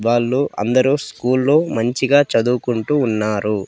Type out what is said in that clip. వాళ్ళు అందరు స్కూళ్ళో మంచి గా చదువుకుంటూ ఉన్నారు.